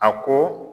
A ko